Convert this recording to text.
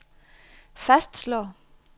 fastslår